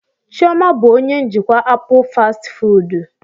Chioma bụ onye njikwa apụl fastị fụụdụ.